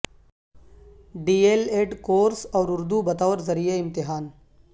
D El Ed course اور اردو بطور ذریعہ امتحان